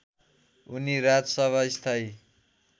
उनी राजसभा स्थायी